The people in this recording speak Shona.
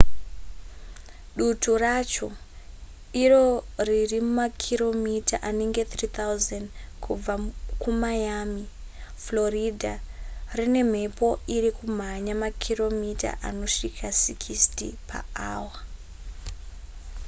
dutu racho iro riri makiromita anenge 3000 kubva kumiami florida rine mhepo iri kumhanya makiromita anosvika 60 paawa